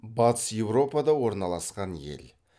батыс еуропада орналасқан ел